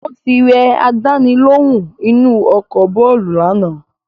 Ó ti rẹ àdáni lóhùn inu ọkọ̀ bàálù lánàá